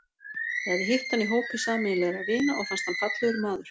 Ég hafði hitt hann í hópi sameiginlegra vina og fannst hann fallegur maður.